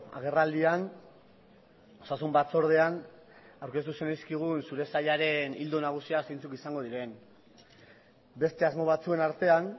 agerraldian osasun batzordean aurkeztu zenizkigun zure sailaren ildo nagusiak zeintzuk izango diren beste asmo batzuen artean